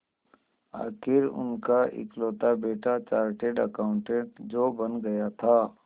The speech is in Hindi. आखिर उनका इकलौता बेटा चार्टेड अकाउंटेंट जो बन गया था